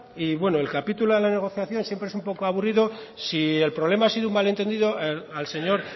y bueno el capítulo de la negociación siempre es un poco aburrido si el problema ha sido un malentendido al señor